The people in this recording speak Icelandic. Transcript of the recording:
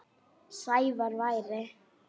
Sævar væri.